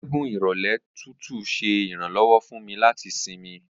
Atẹgun irọlẹ tutu ṣe iranlọwọ fun mi lati sinmi